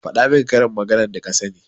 faɗa min karin maganar da ka sani.